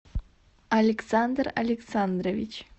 александр александрович